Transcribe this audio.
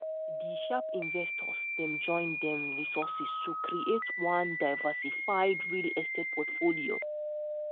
di sharp investors dem join dem resources to create one diversified real estate portfolio